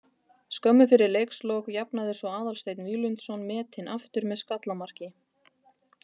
Skömmu fyrir leikslok jafnaði svo Aðalsteinn Víglundsson metin aftur með skallamarki.